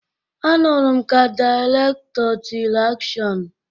Anụrụ m ka dịrektọ tịrị 'akshọn'